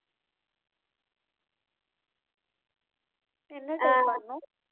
என்ன type பண்ணணும்